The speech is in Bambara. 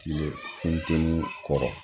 Kile funteni kɔrɔ